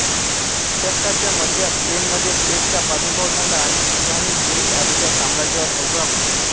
शतकाच्या मध्यात स्पेनमध्ये प्लेगचा प्रादुर्भाव झाला आणि युद्धांनी जेरीस आलेल्या साम्राज्यावर अवकळा पसरली